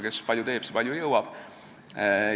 Kes palju teeb, see palju jõuab.